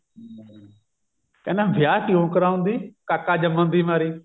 ਕਹਿੰਦਾ ਵਿਆਹ ਕਿਉਂ ਕਰਾਉਂਦੀ ਕਾਕਾ ਜੰਮਣ ਦੀ ਮਾਰੀ